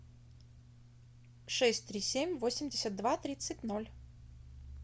шесть три семь восемьдесят два тридцать ноль